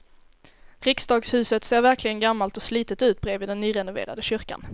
Riksdagshuset ser verkligen gammalt och slitet ut bredvid den nyrenoverade kyrkan.